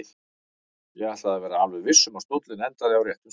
Ég ætlaði að vera alveg viss um að stóllinn endaði á réttum stað.